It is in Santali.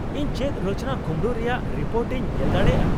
ᱤᱧ ᱪᱮᱫ ᱨᱚᱪᱚᱱᱟ ᱠᱩᱢᱲᱩ ᱨᱮᱭᱟᱜ ᱨᱤᱯᱳᱨᱴ ᱤᱧ ᱧᱮᱞ ᱫᱟᱲᱮᱭᱟᱜᱼᱟ ?